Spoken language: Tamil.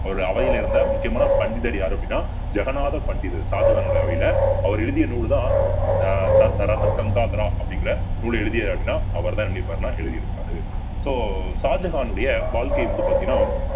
அவருடைய அவையில் இருந்த முக்கியமான பண்டிதர் யாரு அப்படின்னா ஜகநாத பண்டிதர் ஷாஜகானுடைய அவையிலே அவர் எழுதிய நூல்தான் ஆஹ் ரசகங்காத்ரா அப்படிங்கிற நூலை எழுதிய அப்படின்னா அவர்தான் எழுதியிருப்பார்ன்னா எழுதியிருப்பாரு so ஷாஜகானுடைய வாழ்க்கை வந்து பாத்தீங்கன்னா